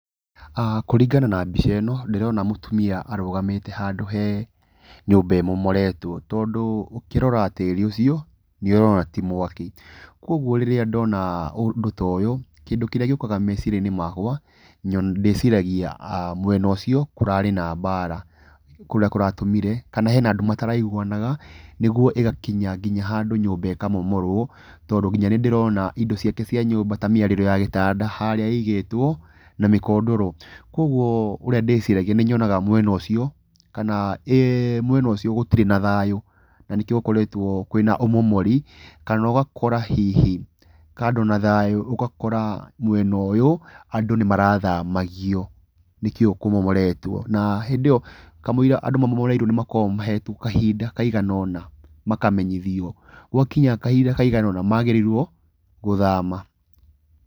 Kũringana na mbica ĩno ndĩrona mũtumia arũgamĩte handũ he nyũmba ĩmomoretwo, tondũ ũkĩrora tĩri ũcio nĩ ũrona ti mwaki. Koguo rĩrĩa ndona ũndũ ta ũyũ, kĩndũ kĩrĩa gĩũkaga meciria-inĩ makwa, ndĩciragia mwena ũcio kũrarĩ na mbara kũrĩa kũratũmire kana hena andũ mataraiguanaga, nĩguo ĩgakinya nginya handũ nyũmba ĩkamomorwo. Tondũ nginya nĩ ndĩrona indo ciake cia nyũmba ta mĩarĩro ya gĩtanda harĩa igĩtwo na mĩkondoro. Koguo, ũrĩa ndĩciragia nĩ nyonaga mwena ũcio, kana mwena ũcio gũtirĩ na thayũ na nĩkĩo gũkoretwo kwĩna ũmomori. Kana ũgakora hihi kando na thayũ, mwena ũyũ andũ nĩ marathamagio nĩkĩo kũmomoretwo. Na hĩndĩ ĩyo, kamũira andũ ma momoreirwo nĩ makoragwo mahetwo kahinda kaigana ũna, makamenyithio gwakinya kahinda kaigana ũna magĩrĩirwo gũthama.